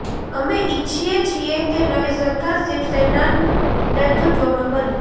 અમે ઇચ્છીએ છીએ કે નવી સરકાર શિવસેનાન નેતૃત્વમાં બને